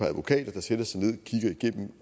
advokater der satte sig ned